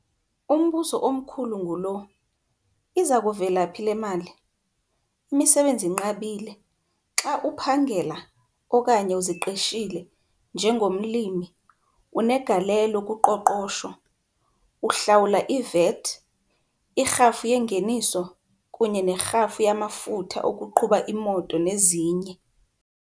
Umbuzo omkhulu ngulo - iza kuvela phi le mali? Imisebenzi inqabile - xa uphangela, okanye uziqeshile, njengomlimi, unegalelo kuqoqosho - uhlawula iVAT, irhafu yengeniso, kunye nerhafu yamafutha okuqhuba imoto nezinye.